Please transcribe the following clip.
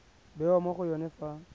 bewa mo go yone fa